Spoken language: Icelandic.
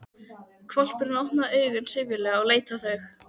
Hvolpurinn opnaði augun syfjulega og leit á þau.